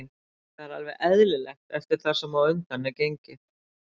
Það er alveg eðlilegt eftir það sem á undan er gengið.